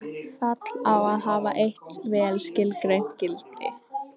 Fall á að hafa eitt vel skilgreint gildi.